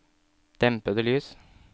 dempede lys